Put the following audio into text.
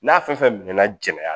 N'a fɛn fɛn mɛnna